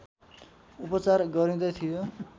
उपचार गरिँदै थियो